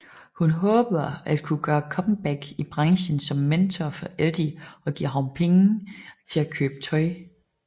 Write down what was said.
Hun håber at kunne gøre comeback i branchen som mentor for Eddie og giver ham penge til at købe tøj